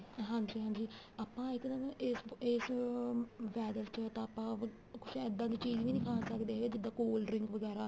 ਹਾਂਜੀ ਹਾਂਜੀ ਆਪਾਂ ਇੱਕਦਮ AC ਇਸ ਅਮ weather ਚ ਤਾਂ ਆਪਾਂ ਕੁੱਛ ਇੱਦਾਂ ਦੀ ਚੀਜ਼ ਵੀ ਨੀ ਖਾ ਸਕਦੇ ਜਿੱਦਾਂ cold drink ਵਗੈਰਾ